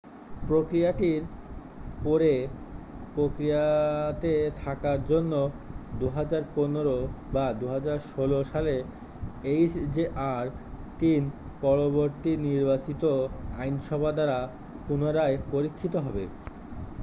প্রক্রিয়াটির পরে প্রক্রিয়াতে থাকার জন্য 2015 বা 2016 সালে এইচজেআর-3 পরবর্তী নির্বাচিত আইনসভা দ্বারা পুনরায় পরীক্ষিত হবে